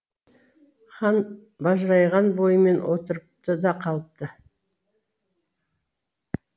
хан бажырайған бойымен отырыпты да қалыпты